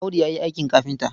Audu ya yi aikin kafinta.